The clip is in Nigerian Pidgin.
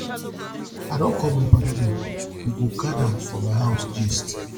i don call my paddy dem we go gada for my house gist